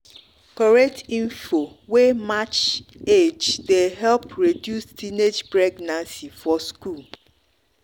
correct info wey match match age dey help reduce teenage pregnancy for school.